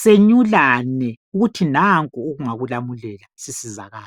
Senyulane ukuthi nangu ekungakulamulela sisizakale.